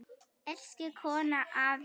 Elsku Konni afi.